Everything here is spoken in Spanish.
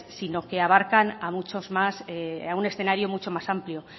sino que abarcan a un escenario mucho más amplio